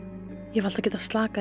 ég hef alltaf getað slakað